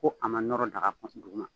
Ko a ma nɔrɔ daga kɔnɔ duguma